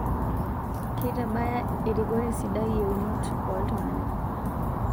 Keitabaya erikore sidai yieunot oo ltung'ana